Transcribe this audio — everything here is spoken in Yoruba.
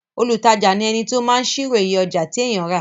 olùtajà ni ẹni tí ó máa ṣírò iye ọjà tí èèyàn rà